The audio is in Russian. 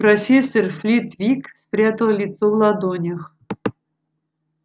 профессор флитвик спрятал лицо в ладонях